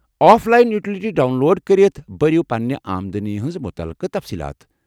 Of line utility download کرِتھ، بٔرِو پنٕنہِ آمدٔنی ہنٛز مُتعلقہٕ تفصیٖلات ۔